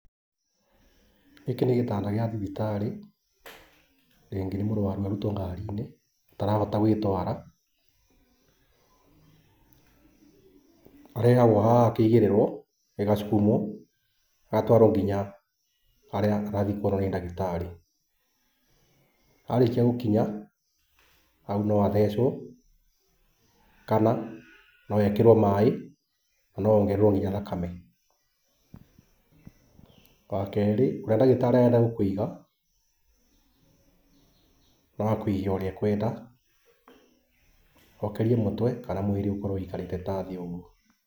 Gĩkĩ nĩ gĩtanda gĩa thibitarĩ, rĩngĩ nĩ mũrwaru arutwo ngari-inĩ ũtaravota gwĩtwara, arehagwo haha akaigĩrĩrwo, gĩgacukumũo, agatwarwo kinya harĩa arathiĩ kuonwo nĩ ndagĩtarĩ. Arĩkia gũkinya, hau no athecwo kana no ekĩrwo maĩ, na no ongererwo kinya thakame. Wakerĩ, ũrĩa ndagĩtarĩ arenda gũkũiga, no akũige ũrĩa ekwenda, okĩrie mũtwe kana mwĩrĩ ũkorwo wĩikarĩte ta thĩ ũguo.